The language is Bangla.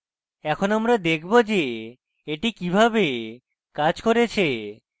এখন আমরা দেখব যে এটি কিভাবে কাজ করেছে